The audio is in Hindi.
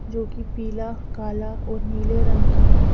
जो की पीला काला और नीले रंग की है।